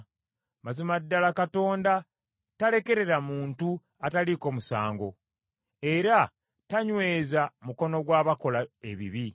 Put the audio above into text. Mazima ddala Katonda talekerera muntu ataliiko musango, era tanyweza mukono gw’abakola ebibi.